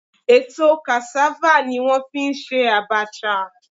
Èso cassava ni wọ́n fi ń ṣe abacha